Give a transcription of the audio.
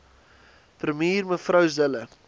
premier mev zille